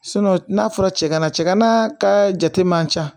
n'a fɔra cɛ kana cɛkana ka jate man ca